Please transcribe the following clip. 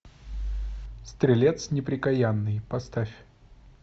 стрелец неприкаянный поставь